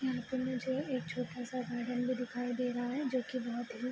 यहाँ पर मुझे एक छोटा-सा गार्डन भी दिखाई दे रहा है जो की बहुत ही --